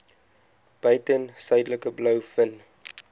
buiten suidelike blouvin